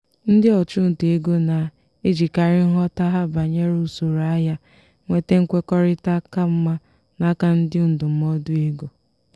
ndị ọchụnta ego na-ejikarị nghọta ha banyere usoro ahịa nweta nkwekọrịta ka mma n'aka ndị ndụmọdụ ego.